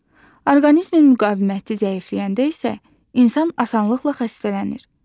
Orqanizmin müqaviməti zəifləyəndə isə insan asanlıqla xəstələnir.